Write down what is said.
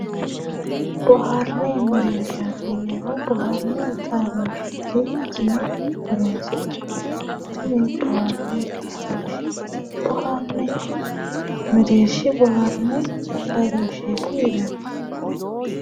Boharanni mereeshati yinnayihu boharanni xaadosheti yinne horonsi'nanni, tini bohare xaadoshe boharani mereershi xaadosheti yinnanni .